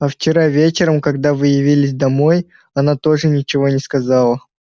а вчера вечером когда вы явились домой она тоже ничего не сказала